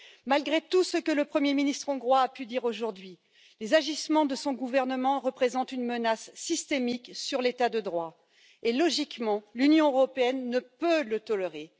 Malgré tout ce que le Premier ministre hongrois a pu dire aujourd'hui, les agissements de son gouvernement représentent une menace systémique sur l'état de droit et, logiquement, l'Union européenne ne peut le tolérer.